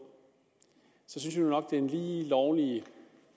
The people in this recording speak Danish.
synes jeg nok det er en lige lovlig